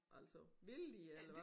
Altså ville de eller hva?